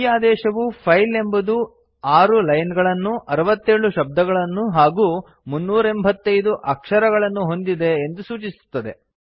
ಈ ಆದೇಶವು ಫೈಲ್ ಎಂಬುದು 6 ಲೈನ್ ಗಳನ್ನು 67 ಶಬ್ದಗಳನ್ನು ಹಾಗೂ 385 ಅಕ್ಷರಗಲನ್ನು ಹೊಂದಿದೆ ಎಂದು ಸೂಚಿಸುತ್ತದೆ